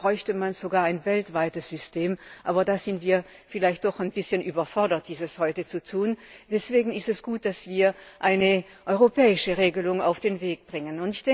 Eigentlich bräuchte man sogar ein weltweites System, aber da sind wir vielleicht doch ein bisschen überfordert, dies heute zu tun. Deswegen ist es gut, dass wir eine europäische Regelung auf den Weg bringen.